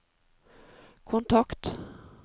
kontakt